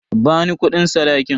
Bani kudin sadakin.